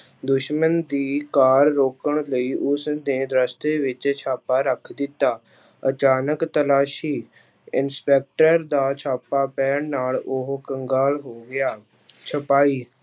ਦੁਸ਼ਮਣ ਦੀ ਕਾਰ ਰੋਕਣ ਲਈ ਉਸਨੇ ਰਸਤੇ ਵਿੱਚ ਛਾਪਾ ਰੱਖ ਦਿੱਤਾ, ਅਚਾਨਕ ਤਲਾਸ਼ੀ, ਇੰਸਪੈਕਟਰ ਦਾ ਛਾਪਾ ਪੈਣ ਨਾਲ ਉਹ ਕੰਗਾਲ ਹੋ ਗਿਆ ਛਪਾਹੀ